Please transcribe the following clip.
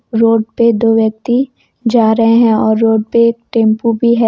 Road पे दो व्यक्ति जा रहे हैं और रोड पर टेंपो भी है।